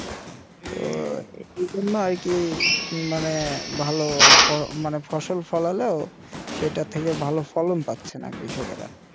তো এর জন্য আর কি মানে ভালো মানে ফসল ফলালো সেটা থেকে ভালো ফলন পাচ্ছে না কৃষকেরা